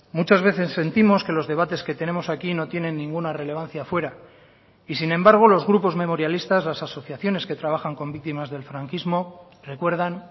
muchas veces sentimos que los debates que tenemos aquí no tienen ninguna relevancia fuera y sin embargo los grupos memorialistas las asociaciones que trabajan con víctimas del franquismo recuerdan